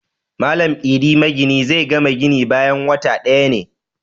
Malam Idi magini zai gama gini bayan wata ɗaya ne